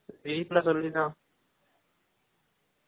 வீட்ல சொல்லி தான்